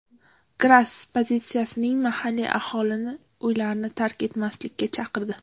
Gras politsiyasi mahalliy aholini uylarni tark etmaslikka chaqirdi.